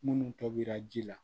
Munnu tɔbira ji la